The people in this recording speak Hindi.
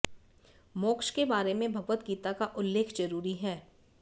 मोक्ष के बारे में भगवत गीता का उल्लेख जरूरी है